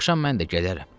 Axşam mən də gələrəm.